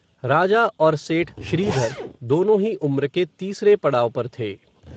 राजा, और सेठ श्रीधर, दोनों ही उम्र के तीसरे पडाव पर थे